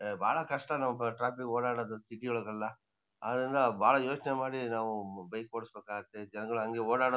ಏಯ್ ಬಾಳ ಕಷ್ಟ ನಾವ್ ಟ್ರಾಫಿಕ್ ಓಡಾಡದು ಸಿಟಿ ಒಳಗೆಲ್ಲಆದ್ರಿಂದ ನಾವ್ ಬಾಳ ಯೋಚ್ನೆ ಮಾಡಿ ನಾವು ಹ್ಮ್ ಬೈಕ್ ಓಡ್ಸಬೇಕಾಗತ್ತೆ ಜನ್ಗಳ್ ಹಂಗೆ ಓಡಾಡದ್--